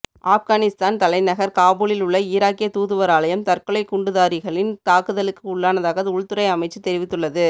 ஆப்கானிஸ்தான் தலைநகர் காபூலில் உள்ள ஈராக்கிய தூதுவராலயம் தற்கொலை குண்டுதாரிகளின் தாக்குதலுக்கு உள்ளானதாக உள்துறை அமைச்சு தெரிவித்துள்ளது